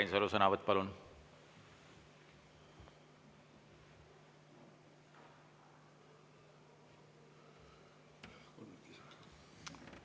Urmas Reinsalu sõnavõtt, palun!